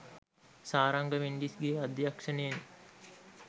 සාරංග මෙන්ඩිස්ගේ අධ්‍යක්ෂණයෙන්